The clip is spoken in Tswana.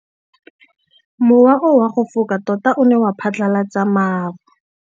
Mowa o wa go foka tota o ne wa phatlalatsa maru.